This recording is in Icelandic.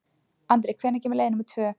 Andri, hvenær kemur leið númer tvö?